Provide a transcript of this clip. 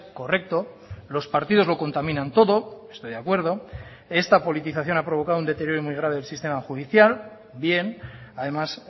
correcto los partidos lo contaminan todo estoy de acuerdo esta politización ha provocado un deterioro muy grave del sistema judicial bien además